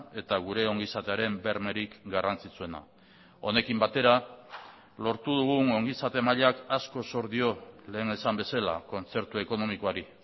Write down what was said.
eta gure ongizatearen bermerik garrantzitsuena honekin batera lortu dugun ongizate mailak asko zor dio lehen esan bezala kontzertu ekonomikoari